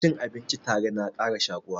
Cin abinci tare na ƙara shaƙuwa